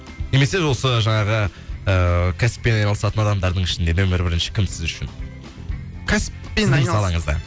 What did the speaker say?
немесе осы жаңағы кәсіппен і айналысатын адамдардың ішінде нөмірі бірінші кім сіз үшін кәсіппен сіздің салаңызда